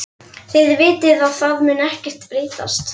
Þið vitið að það mun ekkert breytast.